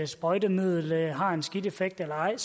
sprøjtemiddel har en skidt effekt eller ej